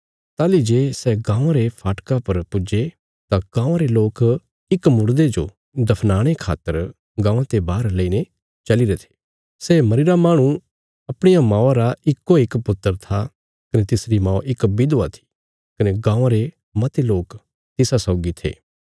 ताहली जे सै गाँवां रे फाटका पर पुज्जे तां गाँवां रे लोक इक मुड़दे जो दफनाणे खातर गाँवां ते बाहर लेईने चलीरे थे सै मरीरा माहणु अपणी मौआ रा इक्कोइक पुत्र था कने तिसरी मौ इक विधवा थी कने गाँवां रे मते लोक तिसा सौगी थे